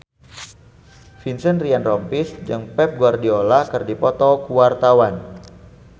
Vincent Ryan Rompies jeung Pep Guardiola keur dipoto ku wartawan